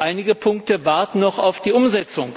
Einige Punkte warten noch auf die Umsetzung